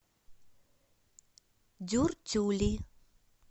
дюртюли